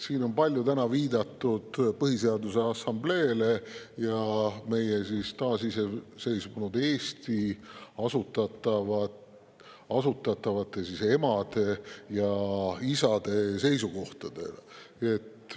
Siin on täna palju viidatud Põhiseaduse Assambleele ning taasiseseisvunud Eesti, emade ja isade seisukohtadele.